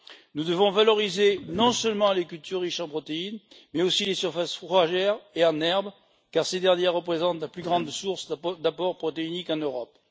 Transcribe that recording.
Nous devons valoriser non seulement les cultures riches en protéines, mais aussi les surfaces fourragères et en herbe, car ces dernières représentent la plus grande source d'apports protéiques en Europe.